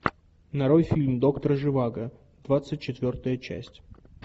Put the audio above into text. нарой фильм доктор живаго двадцать четвертая часть